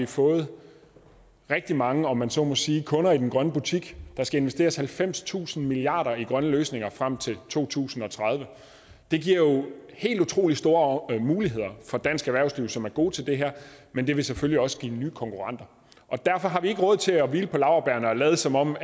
fået rigtig mange om man så må sige kunder i den grønne politik der skal investeres halvfemstusind milliard kroner i grønne løsninger frem til to tusind og tredive det giver jo helt utrolig store muligheder for dansk erhvervsliv som er gode til det her men det vil selvfølgelig også give nye konkurrenter derfor har vi ikke råd til at hvile på laurbærrene og lade som om